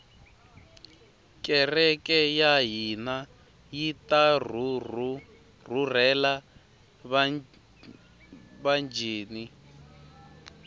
kereke yahhina yitarhurhela vatjini